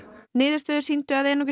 niðurstöður sýndu að einungis